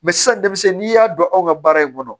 sisan denmisɛnnin n'i y'a dɔn anw ka baara in kɔnɔ